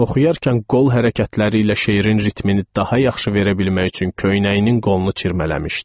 Oxuyarkən qol hərəkətləri ilə şeirin ritmini daha yaxşı verə bilmək üçün köynəyinin qolunu çirmələmişdi.